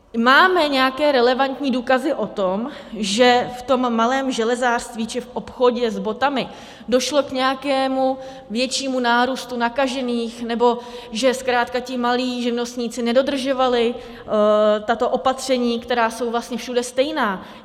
Máme nějaké relevantní důkazy o tom, že v tom malém železářství či v obchodě s botami došlo k nějakému většímu nárůstu nakažených nebo že zkrátka ti malí živnostníci nedodržovali tato opatření, která jsou vlastně všude stejná?